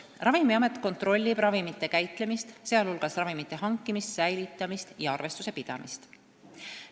" Ravimiamet kontrollib ravimite käitlemist, sh ravimite hankimist, säilitamist ja arvestuse pidamist.